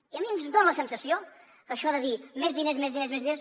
i a mi em dona la sensació que això de dir més diners més diners més diners